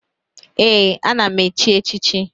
Ee, na m echi echichi